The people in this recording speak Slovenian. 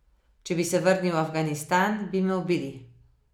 Če bi se vrnil v Afganistan, bi me ubili.